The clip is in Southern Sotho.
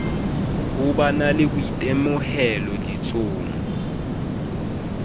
ho ba le boitemohelo ditsong